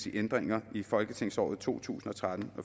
ændringer i folketingsåret to tusind og tretten